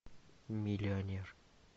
миллионер